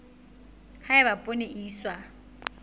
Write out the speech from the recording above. ha eba poone e iswa